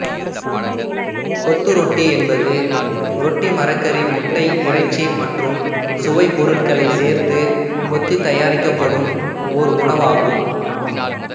கொத்து ரொட்டி என்பது ரொட்டி மரக்கறி முட்டை இறைச்சி மற்றும் சுவைப்பொருட்களைச் சேர்த்துக் கொத்தித் தயாரிக்கப்படும் ஓர் உணவு ஆகும்